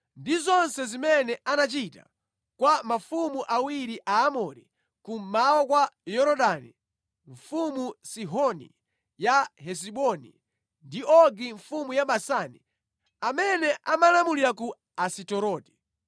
ndi zonse zimene anachita kwa mafumu awiri a Aamori kummawa kwa Yorodani, mfumu Sihoni ya Hesiboni ndi Ogi mfumu ya Basani amene amalamulira ku Asiteroti.